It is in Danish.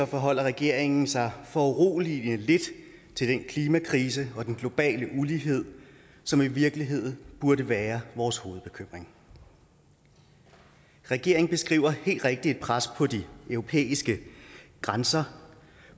forholder regeringen sig foruroligende lidt til den klimakrise og den globale ulighed som i virkeligheden burde være vores hovedbekymring regeringen beskriver helt rigtigt et pres på de europæiske grænser